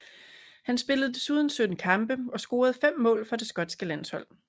Han spillede desuden 17 kampe og scorede fem mål for det skotske landshold